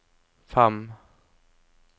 fem